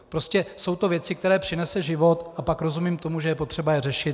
Prostě jsou to věci, které přinese život, a pak rozumím tomu, že je potřeba je řešit.